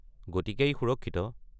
গতিকে ই সুৰক্ষিত।